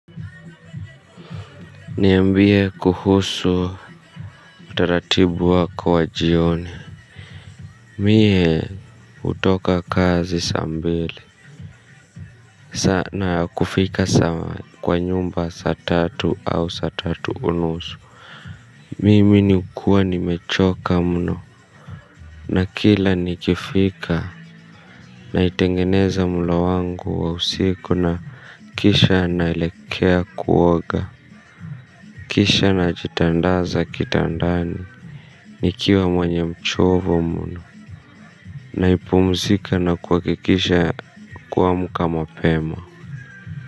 Niambie kuhusu utaratibu wako wa jioni. Mie hutoka kazi saa mbili na kufika kwa nyumba saa tatu au saa tatu unusu. Mimi niukuwa nimechoka mno. Na kila nikifika naitengeneza mlo wangu wa usiku na kisha naelekea kuoga kisha najitandaza kitandani. Nikiwa mwenye mchovu mno. Napumzika na kuhakikisha kuamka mapema.